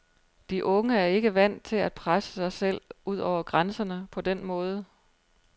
De unge er ikke vant til at presse sig selv over grænserne på den måde.